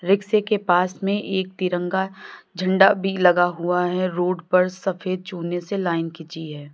रिक्शे के पास में एक तिरंगा झंडा भी लगा हुआ है रोड पर सफेद चुने से लाइन खींची है।